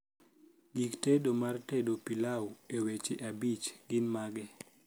gik tedo mar tedo pilau e weche abich gin mage